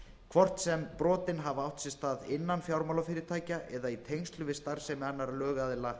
hvort sem brotin hafa átt sér stað innan fjármálafyrirtækja eða í tengslum við starfsemi annarra lögaðila